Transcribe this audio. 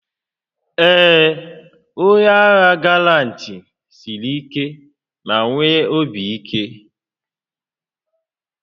Ee, onye agha galant siri ike ma nwee obi ike